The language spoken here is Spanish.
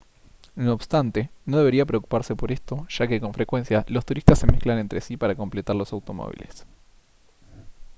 no obstante no debería preocuparse por esto ya que con frecuencia los turistas se mezclan entre sí para completar los automóviles